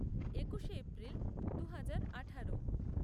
একুশে এপ্রিল দু হাজার আঠারো